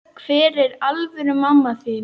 Hver er alvöru mamma þín?